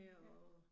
Ja